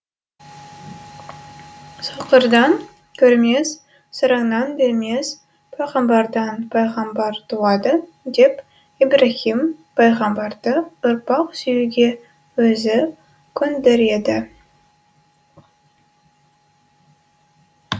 соқырдан көрмес сараңнан бермес пайғамбардан пайғамбар туады деп ибраһим пайғамбарды ұрпақ сүюге өзі көндіреді